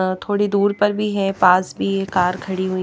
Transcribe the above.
अ थोड़ी दूर पर भी है पास भी ये कार खड़ी हुई।